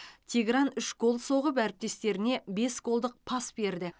тигран үш гол соғып әріптестеріне бес голдық пас берді